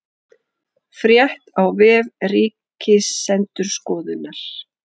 Frétt á vef Ríkisendurskoðunar